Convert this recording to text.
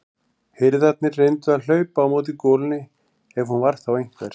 Hirðarnir reyndu að hlaupa á móti golunni ef hún var þá einhver.